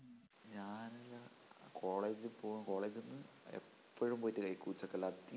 ഞാൻ college പ്പോവും college ന്നു എപ്പഴും പോയിട്ട് കഴിക്കും ഉച്ചക്കെല്ലാം അധികോം